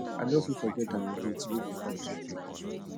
i no fit forget our date wey dey come so soon